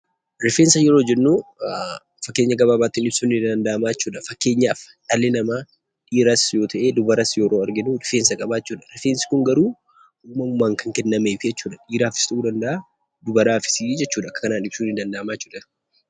Rifeensa yeroo jennu fakkeenya gabaabaatiin ibsuun ni danda'ama jechuudha. Fakkeenyaaf dhalli namaa dhiiras yoo ta'e, dubaras yeroo arginu rifeensa qaba jechuudha. Rifeensi kun garuu uumamumaan kan kennameefii jechuudha, dhiiraafis ta'uu danda'a dubaraafis jechuudha, kanaan ibsuun ni danda'ama jechuudha.